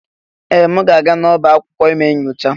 Ee! M ga-aga n'ọba akwụkwọ ime nyocha?